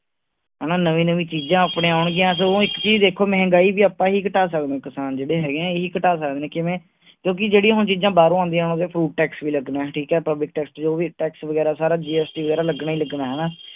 ਹਣਾ ਨਵੀ ਨਵੀ ਚੀਜ ਆਪਣੇ ਆਉਣਗੀਆ, ਸਗੋਂ ਇਕ ਚੀਜ ਦੇਖੋ ਮਹਿੰਗਾਈ ਵੀ ਆਪਾਂ ਹੀ ਘਟਾ ਸਕਦੇ ਹਾਂ ਕਿਸਾਨ ਜਿਹੜੇ ਹੈ, ਐ ਹੀ ਘਟਾ ਸਕਦੇ ਨੇ, ਕਿਵੇਂ ਕਿਓਂਕਿ ਜਿਹੜੀਆਂ ਹੁਣ ਚੀਜਾਂ ਬਾਹਰੋਂ ਆਉਂਦੀਆਂ ਉਹਨਾਂ ਤੇ food tax ਵੀ ਲੱਗਣਾ ਠੀਕ ਆ ਪਬਲਿਕ ਟੈਕਸ ਜੋ ਵੀ ਟੈਕਸ ਵਗੈਰਾ ਸਾਰਾ GST ਵਗੈਰਾ ਲੱਗਣਾ ਹੀ ਲੱਗਣਾ ਹੈ ਹਣਾ